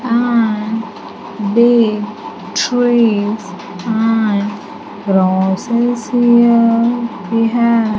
And big trees and crosses here we have --